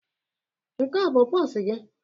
Nke a ọ bụ pusi gị?